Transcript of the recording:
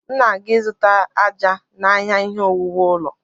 M na-aga ịzụta àjà n'ahịa ihe owuwu ụlọ.